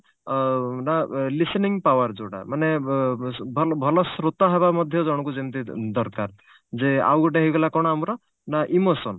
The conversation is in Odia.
ଅ ନା listening power ଯଉଟା ମାନେ ବ ଭଲ ଭଲ ଶ୍ରୋତା ହବା ମଧ୍ୟ ଜଣକୁ ଯେମିତି ଦରକାର ଯେ ଆଉଗୋଟେ ହେଇଗଲା ଆମର କଣ ନା emotion